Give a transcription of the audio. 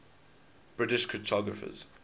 british cryptographers